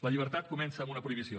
la llibertat comença amb una prohibició